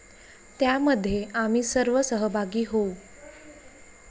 त्यामध्ये आम्ही सर्व सहभागी होऊ.